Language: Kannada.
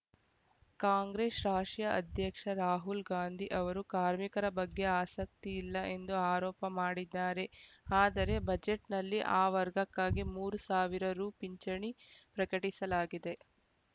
ಕಾಂಗ್ರೆಶ್ ರಾಶಿಯ ಅಧ್ಯಕ್ಷ ರಾಹುಲ್‌ ಗಾಂಧಿ ಅವರು ಕಾರ್ಮಿಕರ ಬಗ್ಗೆ ಆಸಕ್ತಿ ಇಲ್ಲ ಎಂದು ಆರೋಪ ಮಾಡಿದ್ದಾರೆ ಆದರೆ ಬಜೆಟ್‌ನಲ್ಲಿ ಆ ವರ್ಗಕ್ಕಾಗಿ ಮೂರು ಸಾವಿರ ರು ಪಿಂಚಣಿ ಪ್ರಕಟಿಸಲಾಗಿದೆ